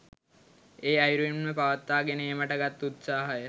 ඒ අයුරින්ම පවත්වා ගෙන ඒමට ගත් උත්සාහය